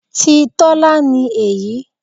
Ti Tọ́lá ni èyí.